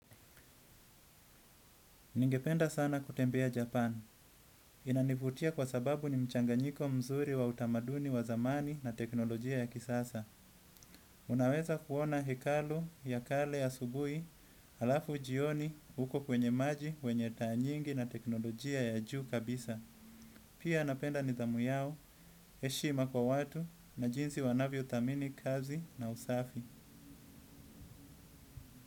Ningependa sana kutembea Japan. Inanivutia kwa sababu ni mchanganyiko mzuri wa utamaduni wa zamani na teknolojia ya kisasa. Unaweza kuona hekalu ya kale asubui alafu ujioni uko kwenye maji, wenye taa nyingi na teknolojia ya juu kabisa. Pia napenda nidhamu yao, heshima kwa watu na jinsi wanavyothamini kazi na usafi.